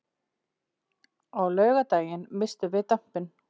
Á laugardaginn misstum við dampinn.